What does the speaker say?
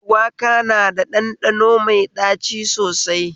Shuwaka na da ɗanɗano mai ɗaci sosai